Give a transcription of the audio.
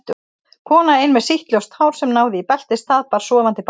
Kona ein með sítt ljóst hár sem náði í beltisstað, bar sofandi barn.